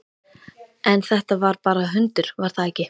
En þetta var bara hundur, var það ekki?